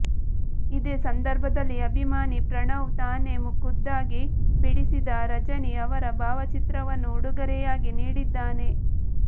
ಇದೇ ಸಂದರ್ಭದಲ್ಲಿ ಅಭಿಮಾನಿ ಪ್ರಣವ್ ತಾನೇ ಖುದ್ದಾಗಿ ಬಿಡಿಸಿದ ರಜನಿ ಅವರ ಭಾವ ಚಿತ್ರವನ್ನು ಉಡುಗೊರೆಯಾಗಿ ನೀಡಿದ್ದಾನೆ